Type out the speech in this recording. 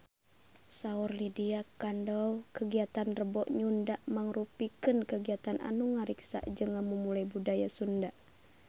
Saur Lydia Kandou kagiatan Rebo Nyunda mangrupikeun kagiatan anu ngariksa jeung ngamumule budaya Sunda